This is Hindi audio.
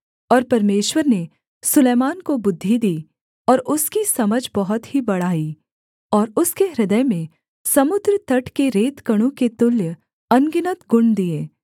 और परमेश्वर ने सुलैमान को बुद्धि दी और उसकी समझ बहुत ही बढ़ाई और उसके हृदय में समुद्र तट के रेतकणों के तुल्य अनगिनत गुण दिए